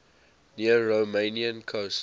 near romanian coast